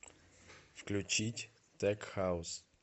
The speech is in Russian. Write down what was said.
включить тек хаус